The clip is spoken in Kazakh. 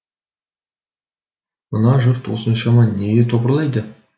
мына жұрт осыншама неге топырлайды